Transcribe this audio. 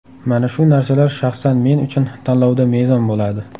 Mana shu narsalar shaxsan men uchun tanlovda mezon bo‘ladi.